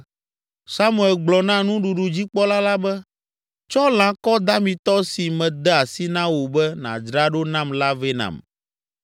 Samuel gblɔ na nuɖuɖudzikpɔla la be, “Tsɔ lãkɔ damitɔ si mede asi na wò be nadzra ɖo nam la vɛ nam.”